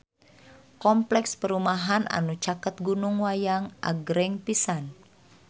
Kompleks perumahan anu caket Gunung Wayang agreng pisan